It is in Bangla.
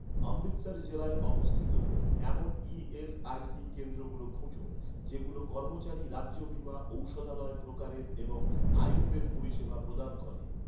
অমৃতসর জেলায় অবস্থিত, এমন ই.এস.আই.সি কেন্দ্রগুলো খুঁজুন, যেগুলো কর্মচারী রাজ্য বীমা ঔষধালয় প্রকারের এবং আয়ুর্বেদ পরিষেবা প্রদান করে